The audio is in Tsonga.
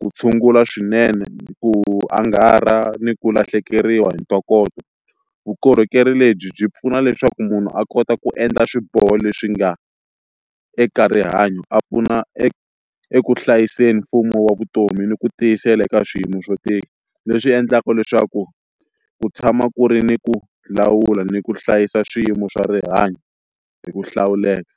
ku tshungula swinene ku angarha ni ku lahlekeriwa hi ntokoto vukorhokeri lebyi byi pfuna leswaku munhu a kota ku endla swiboho leswi nga eka rihanyo a pfuna e eku hlayiseni mfumo wa vutomi ni ku tiyisela eka swiyimo swo tika leswi endlaka leswaku ku tshama ku ri ni ku lawula ni ku hlayisa swiyimo swa rihanyo hi ku hlawuleka.